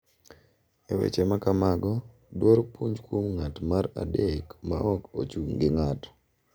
E weche ma kamago, dwaro puonj kuom ng’at mar adek ma ok ochung’ gi ng’ato,